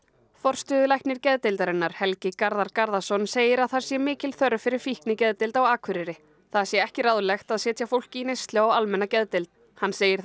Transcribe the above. forstöðulæknir geðdeildarinnar Helgi Garðar Garðarsson segir að það sé mikil þörf fyrir fíknigeðdeild á Akureyri það sé ekki ráðlegt að setja fólk í neyslu á almenna geðdeild hann segir